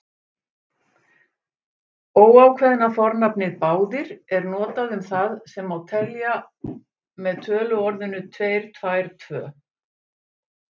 Óákveðna fornafnið báðir er notað um það sem telja má með töluorðinu tveir, tvær, tvö.